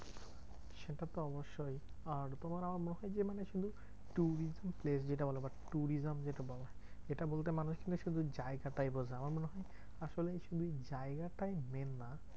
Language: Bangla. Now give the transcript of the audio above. সেটা তো অবশ্যই আর তোমার আমার মসজিদে মানে শুধু tourism place যেটা বলা হয় বা tourism যেটা বলা হয়। এটা বলতে মানুষ কিন্তু শুধু জায়গাটাই বোঝে আমার মনে হয় আসলে শুধু এই জায়গাটাই main না।